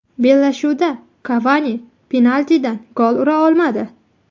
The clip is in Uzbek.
Bellashuvda Kavani penaltidan gol ura olmadi.